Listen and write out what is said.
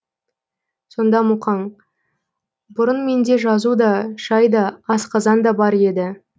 сонда мұқаң бұрын менде жазу да шай да асқазан да бар еді